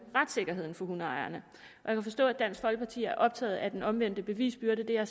retssikkerheden for hundeejerne jeg kan forstå at dansk folkeparti er optaget af den omvendte bevisbyrde det er